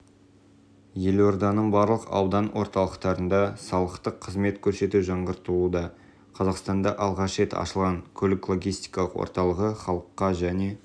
елорданың барлық аудан орталықтарында салықтық қызмет көрсету жаңғыртылуда қазақстанда алғаш рет ашылған көлік-логистикалық орталығы халыққа және